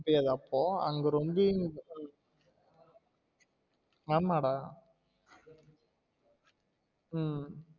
டேய் அது அப்போ அங்க ரொம்பி ஆமா டா உம்